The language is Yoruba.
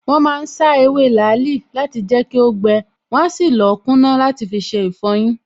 Wọ́n ma ń sá ewé làálì láti jẹ́ kó gbẹ, wọn á sì lọ̀ọ́ kúná làti fiṣe ìfọyín